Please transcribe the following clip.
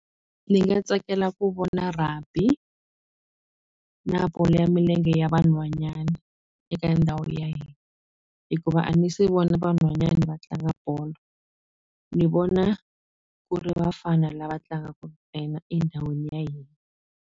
Ni nga tsakela ku vona rugby na bolo ya milenge ya vanhwanyana eka ndhawu ya hina hikuva a ni se vona vanhwanyani va tlanga bolo ni vona ku ri vafana lava tlangaka ntsena endhawini ya hina.